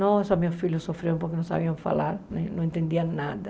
Nossa, meus filhos sofriam porque não sabiam falar, né não entendiam nada.